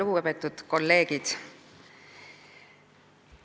Lugupeetud kolleegid!